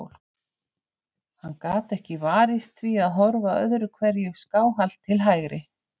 Hann gat ekki varist því að horfa öðru hverju skáhallt til hægri.